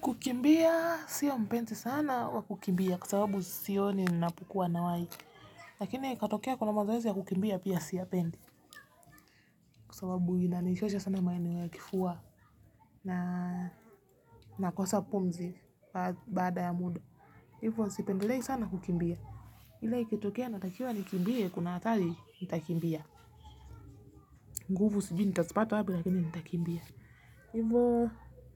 Kukimbia siyo mpenzi sana wa kukimbia, kwa sababu sioni ninapukuwa na wai lakini ikatokea kuna mazoezi ya kukimbia pia siipendi. Kwa sababu inanichosha sana maneno ya kifua na ninakosa pumzi baada ya muda. Hivyo sipendelei sana kukimbia ila ikitokea natakiwa nikimbie kuna hatari nitakimbia. Nguvu sijui nitazipata wapi lakini nitakimbia. Hivyo